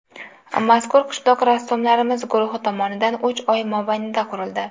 Mazkur qishloq rassomlarimiz guruhi tomonidan uch oy mobaynida qurildi.